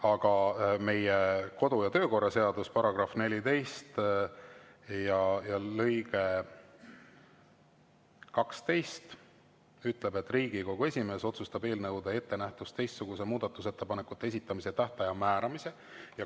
Aga meie kodu- ja töökorra seaduse § 14 lõige 12 ütleb, et Riigikogu esimees otsustab eelnõude ettenähtust teistsuguse muudatusettepanekute esitamise tähtaja määramise.